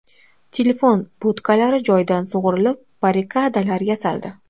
Telefon budkalari joyidan sug‘urilib, barrikadalar yasaldi.